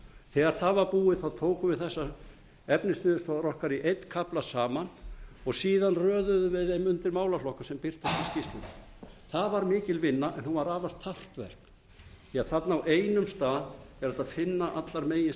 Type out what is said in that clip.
þegar það var búið tókum við þessar efnisniðurstöður okkar í einn kafla saman og síðan röðuðum við þeim undir málaflokka sem birtust í skýrslunni það var mikil vinna en hún var afar þarft verk því þarna á einum stað er hægt að finna allar meginniðurstöður unnar